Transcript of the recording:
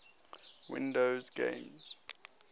windows games